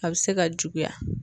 A be se ka juguya